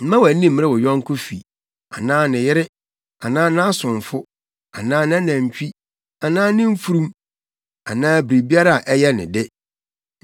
Mma wʼani mmere wo yɔnko fi anaa ne yere anaa nʼasomfo anaa nʼanantwi anaa ne mfurum anaa biribiara a ɛyɛ ne de.”